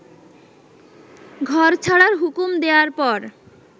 ঘর ছাড়ার হুকুম দেওয়ার পর